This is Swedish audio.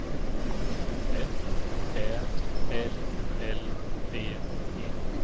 F Ä L L D E